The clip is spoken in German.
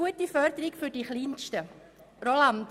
«Gute Förderung für die Kleinsten»